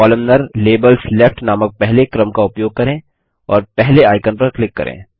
columnar - labels left नामक पहले क्रम का उपयोग करें और पहले आइकन पर क्लिक करें